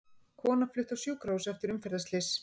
Kona flutt á sjúkrahús eftir umferðarslys